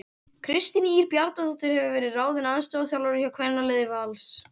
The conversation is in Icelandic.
Kristín Ýr Bjarnadóttir hefur verið ráðin aðstoðarþjálfari hjá kvennaliði Vals.